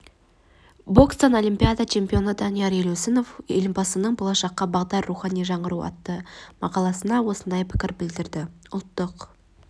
бокстан олимпиада чемпионы данияр елеусінов елбасының болашаққа бағдар рухани жаңғыру атты мақаласына осындай пікір білдірді ұлттық